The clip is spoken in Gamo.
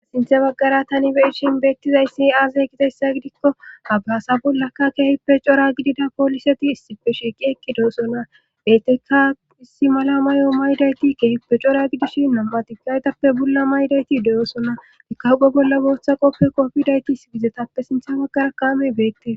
sinthe baggara tani be'iishin beettizayssi aazay ketessa gidikko abraasa bollakka keehippe cora gidida pooliseti issipe shiiqi ekki de7osona beettekka issi mala may7o maydayti keehippe cora gidishi nambatikaytappe bolla maydayti de7osona ikago bolla booththa qoppe qopfidayti sigizetappe sinthe baggara kaame beette